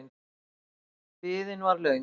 Biðin var löng.